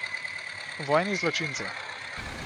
Vojni zločinci.